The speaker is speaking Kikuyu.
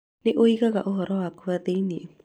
nĩ ũigaga ũhoro wakwa thĩinĩ